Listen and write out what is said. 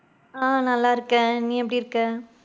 ஆஹ் நல்லா இருக்கேன், நீ எப்படி இருக்க?